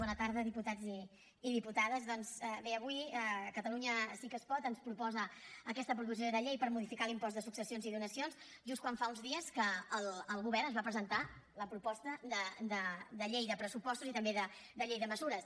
bona tarda diputats i diputades doncs bé avui catalunya sí que es pot ens proposa aquesta proposició de llei per modificar l’impost de successions i donacions just quan fa uns dies que el govern ens va presentar la proposta de llei de pressupostos i també de llei de mesures